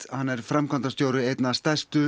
hann er framkvæmdastjóri einna stærstu